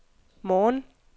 morgen